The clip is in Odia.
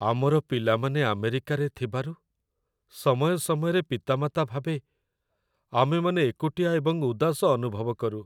ଆମର ପିଲାମାନେ ଆମେରିକାରେ ଥିବାରୁ, ସମୟ ସମୟରେ ପିତାମାତା ଭାବେ ଆମେମାନେ ଏକୁଟିଆ ଏବଂ ଉଦାସ ଅନୁଭବ କରୁ।